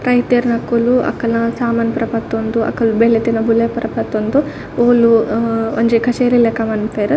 ರೈತೆರ್ನಕುಲು ಅಕಲ್ನ ಸಾಮಾನ್ ಪೂರ ಪತೊಂದು ಅಕ್ಲ್ ಬೇಲೆತಿನ ಬುಲೆ ಪೂರ ಪತೊಂದು ಓಲು ಅಹ್ ಒಂಜಿ ಕಚೇರಿ ಲೆಕ ಮನ್ಪುವೆರ್ .